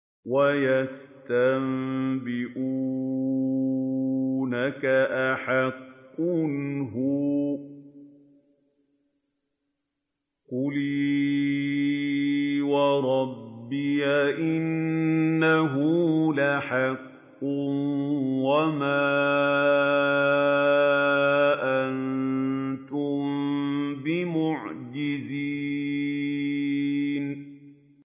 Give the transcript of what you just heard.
۞ وَيَسْتَنبِئُونَكَ أَحَقٌّ هُوَ ۖ قُلْ إِي وَرَبِّي إِنَّهُ لَحَقٌّ ۖ وَمَا أَنتُم بِمُعْجِزِينَ